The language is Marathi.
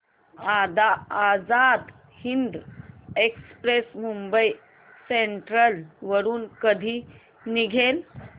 आझाद हिंद एक्सप्रेस मुंबई सेंट्रल वरून कधी निघेल